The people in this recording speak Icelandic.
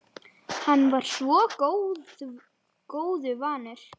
Hann var svo góðu vanur.